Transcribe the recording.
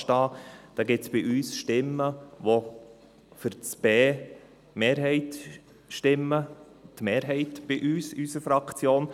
Diesbezüglich gibt es bei uns Stimmen, die bei b für die Mehrheit stimmen, nämlich die Mehrheit bei uns in der Fraktion.